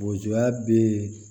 Bozoya be yen